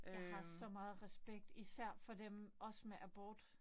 Jeg har så meget respekt især for dem også med abort